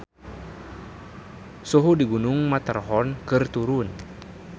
Suhu di Gunung Matterhorn keur turun